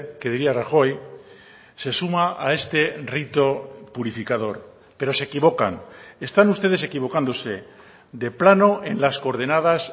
que diría rajoy se suma a este rito purificador pero se equivocan están ustedes equivocándose de plano en las coordenadas